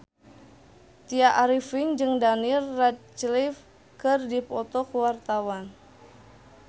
Tya Arifin jeung Daniel Radcliffe keur dipoto ku wartawan